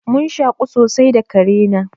Mun shaƙu sosai da kare na.